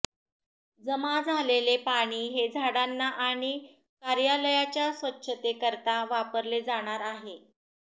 जमा झालेले पाणी हे झाडांना आणि कार्यालयाच्या स्वच्छतेकरता वापरले जाणार आहे